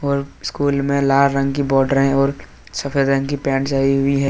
School में लाल रंग की बोडरे और सफेद रंग की पेंट्स हुई है।